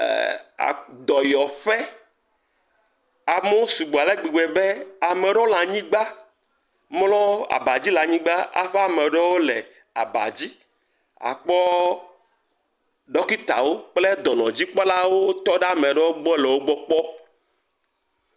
ɛɛɛ dɔyɔƒe. amewo sugbɔ le gbegbe be ame ɖewo le anyigba mɔ abadzi le anyigba aƒe ame ɖewo le abadzi. Akpɔ ɖɔkitawo kple dɔnɔdzikpɔlawo wotɔ ɖe ame ɖewo gbɔ le wogbɔ kpɔ.